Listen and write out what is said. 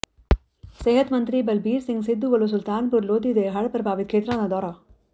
ਸਿਹਤ ਮੰਤਰੀ ਬਲਬੀਰ ਸਿੰਘ ਸਿੱਧੂ ਵੱਲੋਂ ਸੁਲਤਾਨਪੁਰ ਲੋਧੀ ਦੇ ਹੜ ਪ੍ਰਭਾਵਿਤ ਖੇਤਰਾਂ ਦਾ ਦੌਰਾ